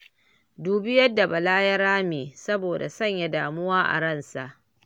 Dubi yadda Bala ya rame saboda sanya damuwa a ransa